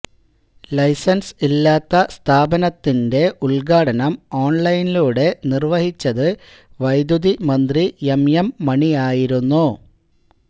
licence ഇല്ലാത്ത സ്ഥാപനത്തിന്റെ ഉദ്ഘാടനം ഓണ്ലൈനിലൂടെ നിര്വ്വഹിച്ചത് വൈദ്യുതി മന്ത്രി എം എം മണിയായിരുന്നു